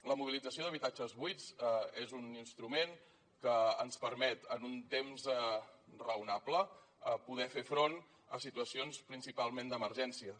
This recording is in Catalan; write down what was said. la mobilització d’habitatges buits és un instrument que ens permet en un temps raonable poder fer front a situacions principalment d’emergències